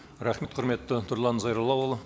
рахмет құрметті нұрлан зайроллаұлы